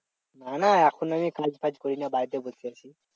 না না এখন আমি কাজ ফাজ করি না বাড়িতে বসে আছি